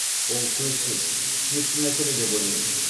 ол сөзсіз түсінікті мәселе деп ойлаймын